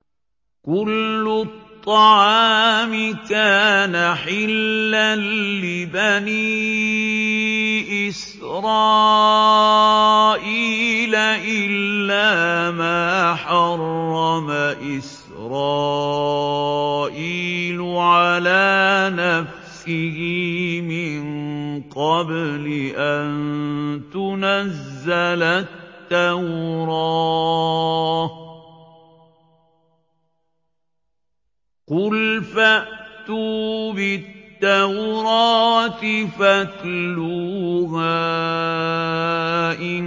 ۞ كُلُّ الطَّعَامِ كَانَ حِلًّا لِّبَنِي إِسْرَائِيلَ إِلَّا مَا حَرَّمَ إِسْرَائِيلُ عَلَىٰ نَفْسِهِ مِن قَبْلِ أَن تُنَزَّلَ التَّوْرَاةُ ۗ قُلْ فَأْتُوا بِالتَّوْرَاةِ فَاتْلُوهَا إِن